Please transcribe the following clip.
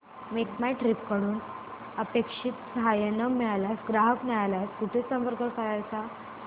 make My Trip कडून अपेक्षित सहाय्य न मिळाल्यास ग्राहक न्यायालयास कुठे संपर्क करायचा